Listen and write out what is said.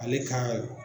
Ale ka